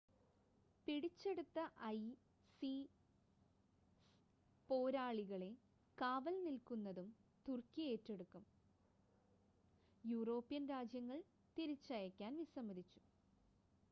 പിടിച്ചെടുത്ത ഐസിസ് പോരാളികളെ കാവൽ നിൽക്കുന്നതും തുർക്കി ഏറ്റെടുക്കും യൂറോപ്യൻ രാജ്യങ്ങൾ തിരിച്ചയക്കാൻ വിസമ്മതിച്ചു